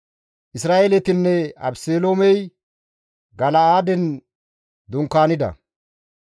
Isra7eeletinne Abeseloomey Gala7aaden dunkaanida.